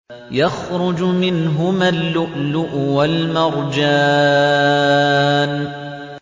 يَخْرُجُ مِنْهُمَا اللُّؤْلُؤُ وَالْمَرْجَانُ